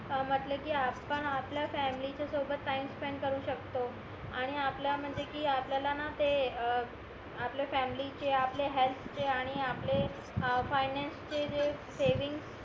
म्हटले कि आपण आपल्या फॅमिली च्या सोबत टाईम स्पेंड करू शकतो आणि आपल्या म्हणजे कि आपल्याला ना ते अं आपल्या फॅमिलीचे आपले हेअल्थचे आणि आपले अं फायनॅन्स चे जे सेविंगस